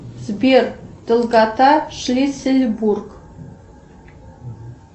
сбер долгота шлиссельбург